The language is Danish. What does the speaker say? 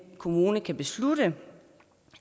kommune kan beslutte